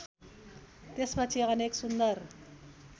त्यसपछि अनेक सुन्दर